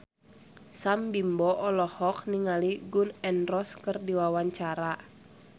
Sam Bimbo olohok ningali Gun N Roses keur diwawancara